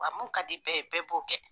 Wa min ka di bɛɛ ye bɛɛ b'o kɛ